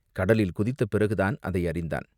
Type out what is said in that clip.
கடலில் குதித்த பிறகுதான் அதை அறிந்தான்.